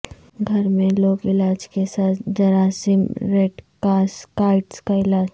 گھر میں لوک علاج کے ساتھ جراثیم ریڈکاسکائٹس کا علاج